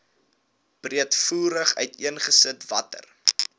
breedvoerig uiteengesit watter